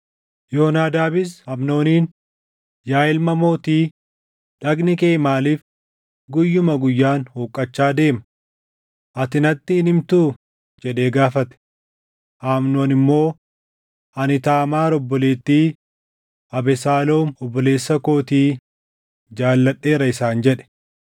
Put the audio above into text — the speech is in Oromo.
Yoonaadaabis Amnooniin, “Yaa ilma mootii, dhagni kee maaliif guyyuma guyyaan huqqachaa deema? Ati natti hin himtuu?” jedhee gaafate. Amnoon immoo, “Ani Taamaar obboleettii Abesaaloom obboleessa kootii jaalladheera” isaan jedhe.